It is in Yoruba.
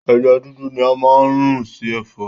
Ẹja dúdú ni a máa n rún sì Ẹ̀fọ́